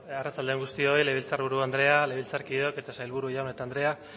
arratsalde on guztioi legebiltzar buru anderea legebiltzarkideok eta sailburu jaun eta andrea